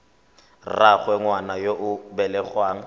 rraagwe ngwana yo o belegweng